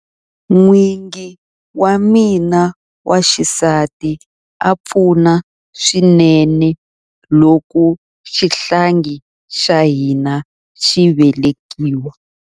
N'wingi wa mina wa xisati a pfuna swinene loko xihlangi xa hina xi velekiwa.